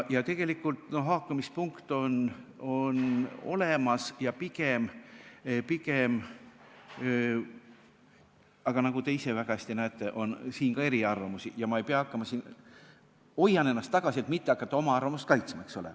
Tegelikult on haakumispunkt olemas, aga nagu te ise väga hästi näete, on siin ka eriarvamusi ja ma hoian ennast tagasi, et mitte hakata oma arvamust kaitsma.